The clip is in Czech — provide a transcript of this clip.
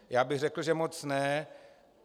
Já bych řekl, že moc ne.